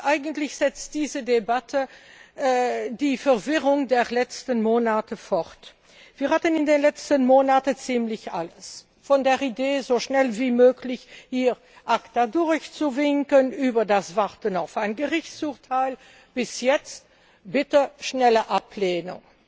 Eigentlich setzt diese Debatte die Verwirrung der letzten Monate fort. Wir hatten in den letzten Monaten ziemlich alles von der Idee, ACTA so schnell wie möglich hier durchzuwinken, über das Warten auf ein Gerichtsurteil bis jetzt Bitte schnelle Ablehnung.